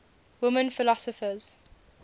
women philosophers